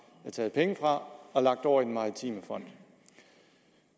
har taget penge fra og lagt over i maritime fond